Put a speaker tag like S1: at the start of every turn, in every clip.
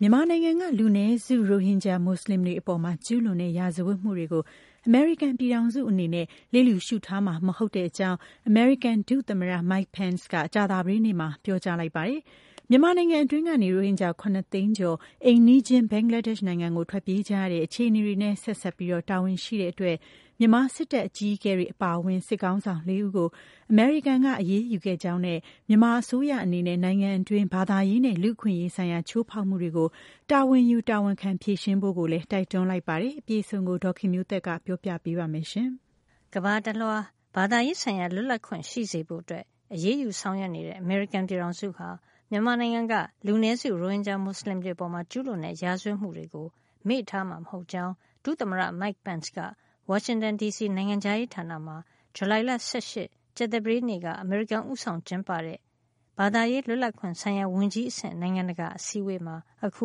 S1: မြန်မာနိုင်ငံက လူနည်းစု ရိုဟင်ဂျာမူဆလင်တွေအပေါ် ကျူးလွန်တဲ့ ရာဇဝတ်မှုတွေကို အမေရိကန်ပြည်ထောင်စုအနေနဲ့ လျစ်လျူရှုထားမှာ မဟုတ်ကြောင်း အမေရိကန်ဒုသမ္မတ Mike Pence က ကြာသပတေးနေ့မှာ ပြောကြားလိုက်ပါတယ်။ မြန်မာနိုင်ငံတွင်း ကနေ ရိုဟင်ဂျာ ၇ သိန်းကျော် အိမ်နီးချင်း ဘင်္ဂလားဒေ့ရ်ှနိုင်ငံကို ထွက်ပြေးကြရတဲ့ အခြေအနေတွေနဲ့ ဆက်စပ်ပြီး တာဝန်ရှိတဲ့အတွက် မြန်မာစစ်တပ်အကြီးအကဲအပါအဝင် စစ်ခေါင်းဆောင်လေးဦးကို အမေရိကန်က အရေးယူခဲ့ကြောင်းနဲ့ မြန်မာအစိုးရအနေနဲ့ နိုင်ငံတွင်း ဘာသာရေးနဲ့ လူ့အခွင့်ရေးဆိုင်ရာ ချိုးဖောက်မှုတွေကို တာဝန်ယူတာဝန်ခံ ဖြေရှင်းဖို့လည်း တိုက်တွန်းလိုက်ပါတယ်။ အပြည့်အစုံကို ဒေါ်ခင်မျိုးသက်က ပြောပြပေးမှာပါ။ ကမ္ဘာတလွှား ဘာသာရေးဆိုင်ရာ လွတ်လပ်ခွင့်ရှိစေဖို့ အရေးယူဆောင်ရွက်နေတဲ့ အမေရိကန်ပြည်ထောင်စု ဟာ မြန်မာနိုင်ငံက လူနည်းစု ရိုဟင်ဂျာ မွတ်ဆလင်တွေ အပေါ် ကျူးလွန်တဲ့ ရာဇဝတ်မှုတွေကို မေ့ထားမှာ မဟုတ်ကြောင်း ဒုသမ္မတ Mike Pence က ဝါရှင်တန်ဒီစီ နိုင်ငံခြားရေးဌာနမှာ ဇူလိုင်လ ၁၈ ရက် ကြာသပတေးနေ့က အမေရိကန်ဦးဆောင်ကျင်းပတဲ့ Ministerial to Advance Religious Freedom ဘာသာရေး လွတ်လပ်ခွင့်ဆိုင်ရာ ဝန်ကြီးအဆင့် နိုင်ငံတကာ အစည်းအဝေးမှာ ခု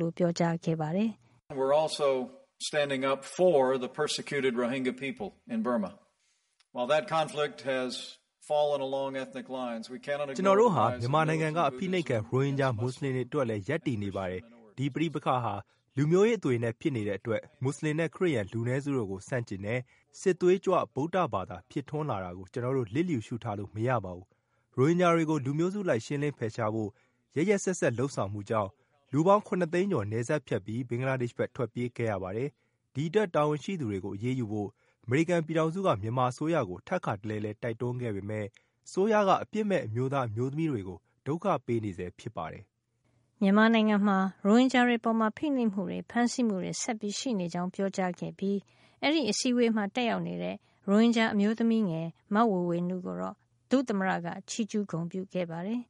S1: လို ပြောပါတယ်။ “ကျ
S2: နော်တို့ဟာ မြန်မာနိုင်ငံက အဖိနှိပ်
S3: ခံ ရိုဟင်ဂျာမူဆလင်တွေ အတွက်လဲရပ်တည်နေပါတယ်၊ ဒီပဋိပက္ခဟာ လူမျိုးရေးအသွင်နဲ့ ဖြစ်နေတဲ့အတွက် မူဆလင်နဲ့ ခရစ်ယန် လူနည်းစုတို့ကို ဆန့်ကျင်တဲ့ (militant Buddhism) “စစ်သွေးကြွ ဗုဒ္ဓဘာသာ” ဖြစ်ထွန်းလာတာကို ကျနော်တို့ လျစ်လျူရှုထားလို့ မရပါဘူး။ ရိုဟင်ဂျာတွေကို လူမျိုးစုအလိုက် ရှင်းလင်းဖယ်ရှားဖို့ ရက်ရက်စက်စက်လုပ်ဆောင်မှုကြောင့် လူပေါင်း ၇ သိန်းကျော် နယ်စပ်ဖြတ်ပြီး ဘင်္ဂလားဒေ့ရှ်ဘက် ထွက်ပြေးခဲ့ရပါတယ်။ ဒီအတွက် တာဝန်ရှိသူတွေကို အရေးယူဖို့ အမေရိကန်ပြည်ထောင်စုက မြန်မာအစိုးရကို ထပ်ကာတလဲလဲ တိုက်တွန်းခဲ့ပေမယ့် အစိုးရက အပြစ်မဲ့ အမျိုးသားအမျိုးသမီးတွေကို ဒုက္ခပေးနေဆဲဖြစ်ပါတယ်။
S1: ” မြန်မာနိုင်ငံမှာ ရိုဟင်ဂျာတွေအပေါ် ဖိနှိပ်မှုတွေ ဖမ်းဆီးမှုတွေ ဆက်ရှိနေကြောင်းပြောကြားခဲ့ပြီး အဲဒီအစည်းအဝေးမှာ တက်ရောက်နေတဲ့ ရိုဟင်ဂျာအမျိုးသမီးငယ် မေဝေေ၀နုကိုတော့ ဒုသမ္မတက ချီးကျူးဂုဏ်ပြုခဲ့ပါတယ်။ “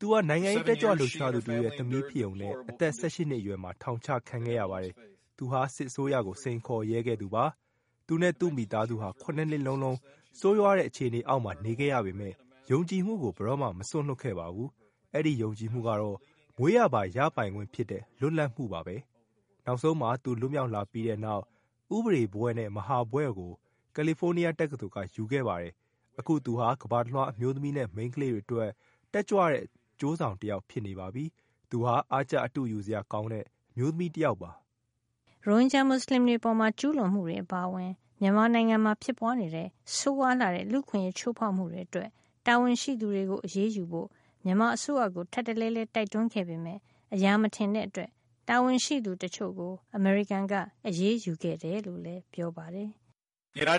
S1: သူ
S2: ဟ
S3: ာ နိုင်ငံရေးတက်ကြွလှုပ်ရှားသူတဦးရဲ့ သမီးဖြစ်ရုံနဲ့ အသက် ၁၈ နှစ်အရွယ်မှာ ထောင်ချခံခဲ့ရပါတယ်။ သူဟာစစ်အစိုးရကို စိမ်ခေါ်ရဲခဲ့သူပါ။ သူနဲ့ သူ့မိသားစုဟာ ၇ နှစ်လုံးလုံး ဆိုးရွားတဲ့ အခြေအနေအောက်မှာ နေခဲ့ရပေမဲ့ ယုံကြည်မှုကို ဘယ်တော့မှ မစွန့်လွှတ်ခဲ့ပါဘူး။ အဲဒီ ယုံကြည်မှုကတော့ မွေးရာပါရပိုင်ခွင့်ဖြစ်တဲ့ လွတ်လပ်မှုပါပဲ။ နောက်ဆုံးမှာ သူ လွတ်မြောက်လာပြီးတဲ့နောက် ဥပဒေဘွဲ့နဲ့ မဟာဥပဒေဘွဲ့ကို ကယ်လီဖိုးနီးယားတက္ကသိုလ်က ရယူခဲ့ပါတယ်။ အခု သူဟာ ကမ္ဘာတလွှား အမျိုးသမီးနဲ့ မိန်းကလေးတွေအတွက် တက်ကြွတဲ့ အကျိုးဆောင်တယောက် ဖြစ်နေပါပြီ။ သူဟာ အားကျ အတုယူစရာ ကောင်းတဲ့ အမျိုးသမီး တယောက်ပါ။
S1: ” ရိုဟင်ဂျာမွတ်စလင်တွေ အပေါ် ကျူးလွန်မှုတွေ အပါအဝင် မြန်မာနိုင်ငံမှာဖြစ်ပွားနေတဲ့ ဆိုးရွားလှတဲ့ လူ့အခွင့်အရေး ချိုးဖောက်မှုတွေ အတွက် တာဝန်ရှိသူတွေကို အရေးယူဖို့ မြန်မာအစိုးရကို ထပ်တလဲလဲ တိုက်တွန်းခဲ့ပေမယ့် အရာမထင်တဲ့အတွက် တာဝန်ရှိသူ တချို့ကို အမေရိကန်က အရေးယူခဲ့တယ်လို့လည်း ပြောပါတယ်
S2: ။ “တာဝန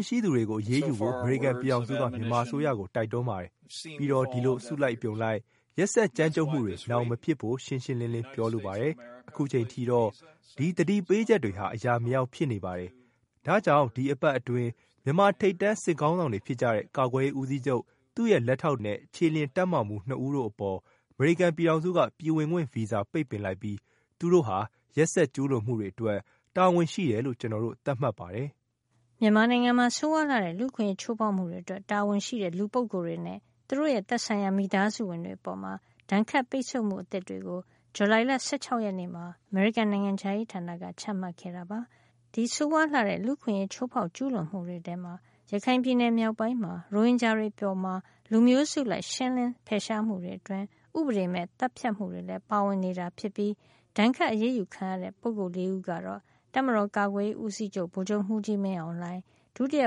S3: ်ရှိသူတွေကို အရေးယူဖို့ အမေရိကန်ပြည်ထောင်စုက မြန်မာအစိုးရကို တိုက်တွန်းပါတယ်။ ပြီးတော့ ဒီလို အစုလိုက်အပြုံလိုက် ရက်စက်ကြမ်းကြုတ်မှုတွေ နောင်မဖြစ်စေဖို့ ရှင်းရှင်းလင်းလင်း ပြောလိုပါတယ်။ အခုအချိန်ထိတော့ ဒီသတိပေးချက်တွေဟာ အရာမရောက်ဖြစ်နေပါတယ်။ ဒါကြောင့် ဒီအပတ်အတွင်း မြန်မာထိပ်တန်း စစ်ခေါင်းဆောင်တွေ ဖြစ်ကြတဲ့ ကာကွယ်ရေးဦးစီးချုပ်၊ သူ့ရဲ့လက်ထောက်နဲ့ ခြေလျင်တပ်မမှူး ၂ ဦး တို့အပေါ် အမေရိကန်ပြည်ထောင်စုက ပြည်ဝင်ခွင့် ဗီဇာ ပိတ်ပင်လိုက်ပြီး သူတို့ဟာ (ရက်စက်ကျူးလွန်မှုတွေအတွက်) တာဝန်ရှိတယ်လို့ ကျနော်တို့ သတ်မှတ်ပါတယ်။
S1: ” မြန်မာနိုင်ငံမှာ ဆိုးရွားလှတဲ့ လူ့အခွင့်အရေး ချိုးဖောက်မှုတွေ အတွက် တာဝန်ရှိတဲ့ လူပုဂ္ဂိုလ်တွေနဲ့ သူတို့ရဲ့ သက်ဆိုင်ရာ မိသားစုဝင်တွေအပေါ် ဒဏ်ခတ်ပိတ်ဆို့မှုအသစ်တွေကို ဇူလိုင်လ ၁၆ ရက်နေ့မှာ အမေရိကန်နိုင်ငံခြားရေးဌာနက ချမှတ်ခဲ့တာပါ။ ဒီဆိုးဝါးလှတဲ့ လူ့အခွင့်အရေး ချိုးဖောက်ကျူးလွန်မှုတွေမှာ ရခိုင်ပြည်နယ်မြောက်ပိုင်းမှာ ရိုဟင်ဂျာတွေအပေါ် လူမျိုးစုအလိုက် ရှင်းလင်း ဖယ်ရှားမှုတွေအတွင်း ဥပဒေမဲ့ သတ်ဖြတ်မှုတွေလည်း ပါဝင်နေတာ ဖြစ်ပြီး ဒဏ်ခတ်အရေးယူခံရတဲ့ ပုဂ္ဂိုလ်လေးဦးကတော့ တပ်မတော်ကာကွယ်ရေး ဦးစီးချုပ် ဗိုလ်ချုပ်မှူးကြီး မင်းအောင်လှိုင်၊ ဒုတိယ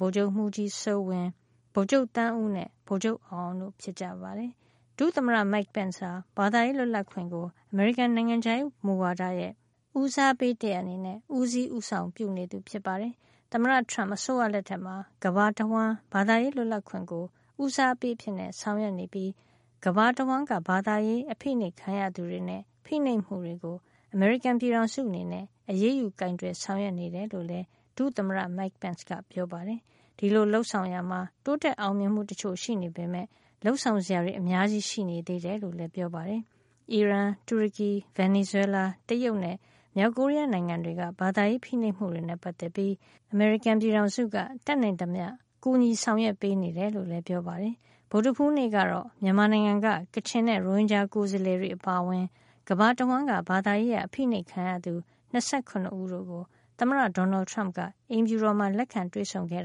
S1: ဗိုလ်ချုပ်မှူးကြီး စိုးဝင်း၊ ဗိုလ်ချုပ် သန်းဦးနဲ့ ဗိုလ်ချုပ်အောင်အောင်တို့ ဖြစ်ကြပါတယ်။ ဒုသမ္မတ Mike Pence ဟာ ဘာသာရေးလွတ်လပ်ခွင့်ကို အမေရိကန်နိုင်ငံခြားရေးမူဝါဒရဲ့ ဦးစားပေးတရပ်အနေနဲ့ ဦးစီးဦးဆောင် ပြုနေသူ ဖြစ်ပါတယ်။ သမ္မတ Trump အစိုးရလက်ထက်မှာ ကမ္ဘာတဝှမ်း ဘာသာရေးလွတ်လပ်ခွင့်ကို ဦးစားပေးအဖြစ်ဆောင်ရွက်နေပြီး၊ ကမ္ဘာတဝှမ်းက ဘာသာရေး အဖိနှိပ်ခံရသူတွေနဲ့ ဖိနှိပ်မှုတွေကို အမေရိကန်ပြည်ထောင်စုအနေနဲ့ အရေးယူကိုင်တွယ်ဆောင်ရွက်နေတယ်လို့ ဒုသမ္မတ Mike Pence က ပြောပါတယ်။ ဒီလိုလုပ်ဆောင်ရာမှာ တိုးတက်အောင်မြင်မှုအချို့ရှိပေမယ့် လုပ်ဆောင်စရာတွေ အများကြီးရှိနေ သေးတယ်လို့လည်း ပြောပါတယ်။ အီရန်၊ တူရကီ၊ ဗင်နီဇွဲလား၊ တရုတ်နဲ့ မြောက်ကိုရီးယား နိုင်ငံတွေက ဘာသာရေးဖိနှိပ်မှုတွေနဲ့ ပတ်သက်ပြီး အမေရိကန်ပြည်ထောင်စုက တတ်နိုင်သမျှ ကူညီဆောင်ရွက်ပေးနေတယ် လို့လည်းပြောပါတယ်။ ဗုဒ္ဓဟူးနေ့ကတော့ မြန်မာနိုင်ငံက ကချင်နဲ့ ရိုဟင်ဂျာကိုယ်စားလှယ်တွေအပါအဝင် ကမ္ဘာတဝှမ်းက ဘာသာရေးအရ အဖိနှိပ်ခံရသူ ၂၇ ဦးတို့ကို သမ္မတ Donald Trump က အိမ်ဖြူတော်မှာ လက်ခံတွေ့ဆုံခဲ့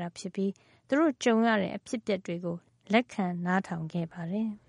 S1: ပြီး သူတို့ကြုံရတဲ့ အဖြစ်အပျက်တွေကို လက်ခံနားထောင်ခဲ့ပါတယ်။